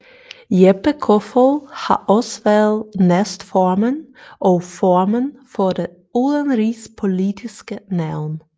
Jeppe Kofod har også været næstformand og formand for Det Udenrigspolitiske Nævn